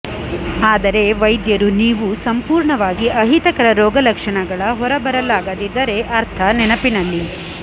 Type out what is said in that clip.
ಆದರೆ ವೈದ್ಯರು ನೀವು ಸಂಪೂರ್ಣವಾಗಿ ಅಹಿತಕರ ರೋಗಲಕ್ಷಣಗಳ ಹೊರಬರಲಾಗದಿದ್ದರೆ ಅರ್ಥ ನೆನಪಿನಲ್ಲಿ